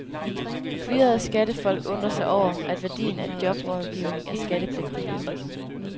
Fyrede skattefolk undrer sig over, at værdien af jobrådgivning er skattepligtigt.